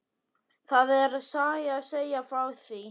Það er saga að segja frá því.